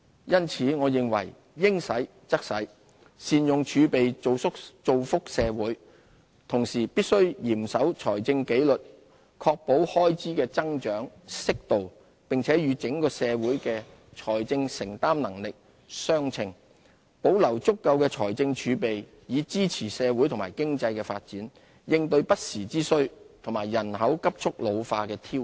因此，我認為應使則使，善用儲備造福社會，同時必須嚴守財政紀律，確保開支的增長適度，並與整個社會的財政承擔能力相稱，保留足夠的財政儲備，以支持社會和經濟的發展，應對不時之需和人口急速老化的挑戰。